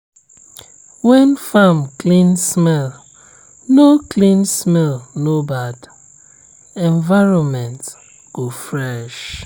when farm clean smell no clean smell no bad environment go fresh.